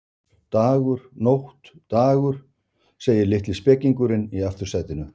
Dagur, nótt, dagur, segir litli spekingurinn í aftursætinu.